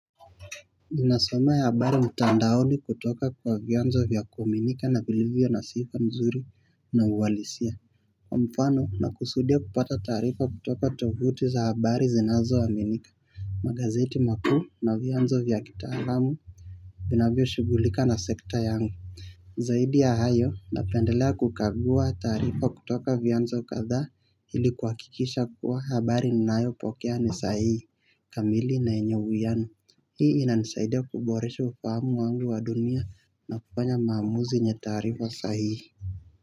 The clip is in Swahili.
Zinasome ya habari mtandaoni kutoka kwa vianzo vya kuaminika na vilivyo na sifa nzuri na uwalisia Kwa mfano na kusudia kupata taarifa kutoka tovuti za habari zinazoaminika, magazeti makuu na vianzo vya kitaalamu vinavyo shugulika na sekta yangu Zaidi ya hayo napendelea kukagua taarifa kutoka vianzo kadhaa ili kwa kikisha kuwa habari ninayo pokea nisahihi, kamili na yenye uwiano hii inansaidia kuboresha ufahamu wangu kufa dunia napanya maamuzi yenye taarifa sahihi.